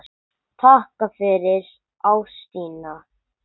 Takk fyrir ástina þína.